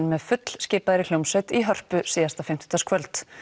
með fullskipaðri hljómsveit í Hörpu síðasta fimmtudagskvöld